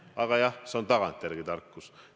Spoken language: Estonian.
Aga jah, see on tagantjärele tarkus.